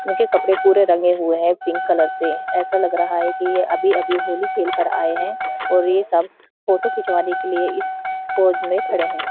उनके कपड़े पूरे रंगे हुए हैं पिंक कलर से ऐसा लग रहा है कि ये अभी अभी होली खेल कर आये हैं और ये सब फोटो खिचवाने के लिए इस पोज में खड़े हैं।